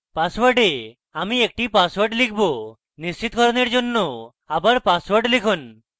পাসওয়ার্ডে আমি একটি পাসওয়ার্ড লিখব নিশ্চিতকরণের জন্য আবার পাসওয়ার্ড লিখুন